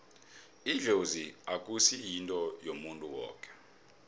idlozi akusi yinto yomuntu woke